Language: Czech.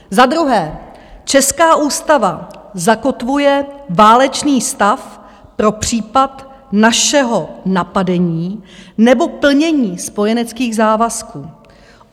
Za druhé: Česká ústava zakotvuje válečný stav pro případ našeho napadení nebo plnění spojeneckých závazků.